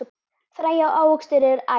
Fræ og ávöxtur eru æt.